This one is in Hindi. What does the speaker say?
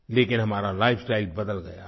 लेकिन हमारा लाइफस्टाइल बदल गया है